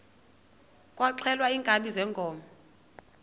kwaxhelwa iinkabi zeenkomo